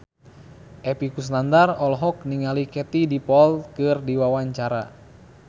Epy Kusnandar olohok ningali Katie Dippold keur diwawancara